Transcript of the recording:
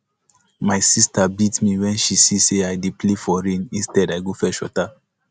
my sister beat me wen she see say i dey play for rain instead i go fetch water